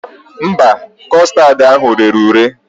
Mba, kọstad ahụ rere ure